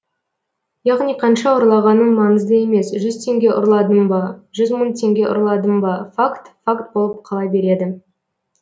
яғни қанша ұрлағаның маңызды емес жүз теңге ұрладың ба жүз мың теңге ұрладың ба факт факт болып қала береді